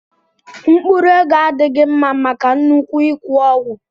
Mkpụrụ ego adịghị mma maka nnukwu ịkwụ ụgwọ.